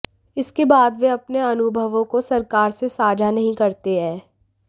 इसके बाद वे अपने अनुभवों को सरकार से साझा नहीं करते हैं